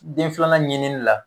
Den filanan ɲinini la